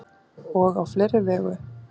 Og á fleiri vegu.